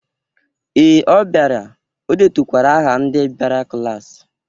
Ee, ọ biara. Ọ detukwara aha ndị biara klasị